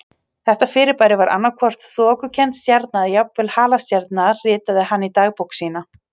Þetta fyrirbæri var annað hvort þokukennd stjarna eða jafnvel halastjarna ritaði hann í dagbók sína.